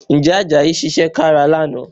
Ǹjẹ́ Àjàyí ṣiṣẹ́ kára lánàá?